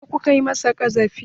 Me ya sa kuka masa ƙazafi?